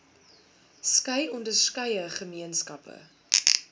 skei onderskeie gemeenskappe